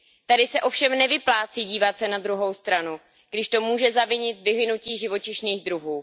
Tady se ovšem nevyplácí dívat se na druhou stranu, když to může zavinit vyhynutí živočišných druhů.